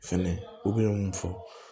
Fɛnɛ u bɛ mun fɔ